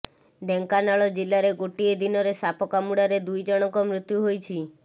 ଢେଙ୍କାନାଳ ଜିଲ୍ଲାରେ ଗୋଟିଏ ଦିନରେ ସାପ କାମୁଡାରେ ଦୁଇ ଜଣଙ୍କ ମୃତ୍ୟୁ ହୋଇଛି